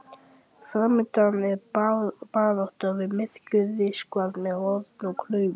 Framundan er barátta við myrkur, ríkisvald með horn og klaufir.